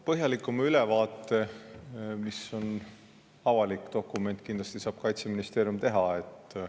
Põhjalikuma ülevaate, mis on avalik dokument, kindlasti saab Kaitseministeerium teha.